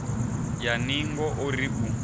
ya ningo o ri u